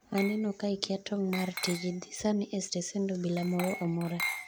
aneno ka ikia tong' mar tiji, dhi sani e stesend Obila moro amora